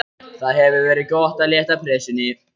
Það hefur verið gott að létta pressunni.